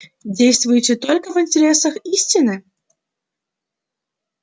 действуете только в интересах истины